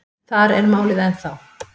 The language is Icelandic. Þar er málið ennþá.